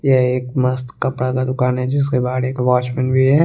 यहा एक मस्त कपड़ा दुकान है जिसके बाड़े एक वोचमेन भी है।